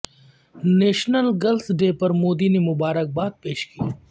national girls day پر مودی نے مبارکباد پیش کی